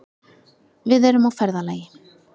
Við erum á ferðalagi.